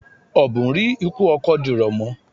Ọ̀bùn rí ikú ọkọ dìrọ̀ mọ́.